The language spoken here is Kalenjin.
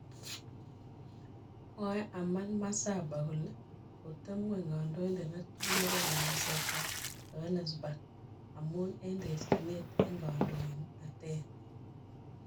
Mwae Herman Masaba kole koteb ngwony kandoindet netui nebo nganaset ab Johanesburg amun en terchinet en kandoinatet